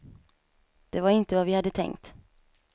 Det var inte vad vi hade tänkt.